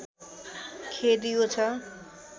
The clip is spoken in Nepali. खेद यो छ